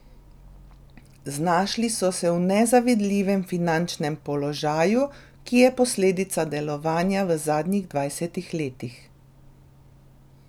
Znašli so se v nezavidljivem finančnem položaju, ki je posledica delovanja v zadnjih dvajsetih letih.